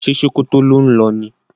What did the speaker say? Ṣe Sokoto ló ń lo ni?